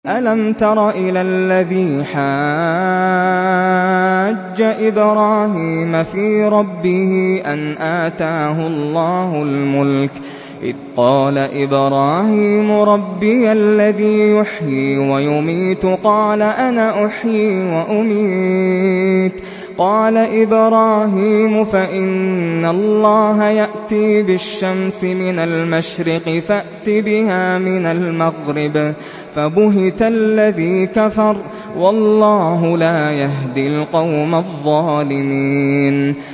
أَلَمْ تَرَ إِلَى الَّذِي حَاجَّ إِبْرَاهِيمَ فِي رَبِّهِ أَنْ آتَاهُ اللَّهُ الْمُلْكَ إِذْ قَالَ إِبْرَاهِيمُ رَبِّيَ الَّذِي يُحْيِي وَيُمِيتُ قَالَ أَنَا أُحْيِي وَأُمِيتُ ۖ قَالَ إِبْرَاهِيمُ فَإِنَّ اللَّهَ يَأْتِي بِالشَّمْسِ مِنَ الْمَشْرِقِ فَأْتِ بِهَا مِنَ الْمَغْرِبِ فَبُهِتَ الَّذِي كَفَرَ ۗ وَاللَّهُ لَا يَهْدِي الْقَوْمَ الظَّالِمِينَ